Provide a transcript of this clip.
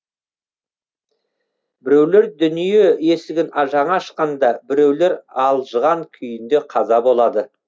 біреулер дүние есігін жаңа ашқанда біреулер алжыған күйінде қаза болады